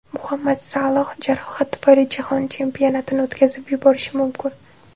Muhammad Saloh jarohat tufayli Jahon Chempionatini o‘tkazib yuborishi mumkin.